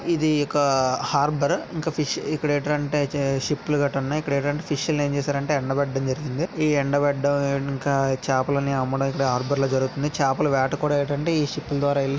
ఇది ఒక హార్బర్ ఇంకా ఇక్కడ ఏంటంటే షిప్ గట్టా ఉంటాయి. ఇక్కడ ఏంటంటే ఫిష్ లు ఏం చేశారంటే ఎండ బెట్టడం జరిగింది ఈ ఎండ బెట్టడం ఇంకా చపలను అమ్ముడై అనేది హార్బర్ లో జరుగుతుంది చేపలు వేటకు కూడా ఏమిటంటే ఈ షిప్ --